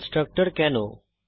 constructor কেন